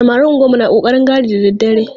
Samarin unguwannu na ƙoƙarin gadi da dare.